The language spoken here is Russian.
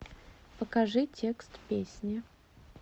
покажи текст песни